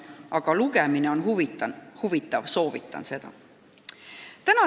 Aga lugemine on huvitav, soovitan seda.